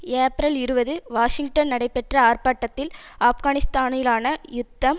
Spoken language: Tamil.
ஏப்ரல் இருபது வாஷிங்டன் நடைபெற்ற ஆர்ப்பாட்டத்தில் ஆப்கானிஸ்தானிலான யுத்தம்